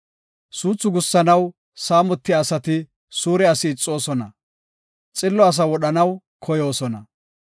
Suuthu gussanaw saamotiya asati suure asi ixoosona; xillo asaa wodhanaw koyoosona.